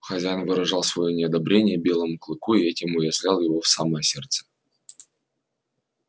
хозяин выражал своё неодобрение белому клыку и этим уязвлял его в самое сердце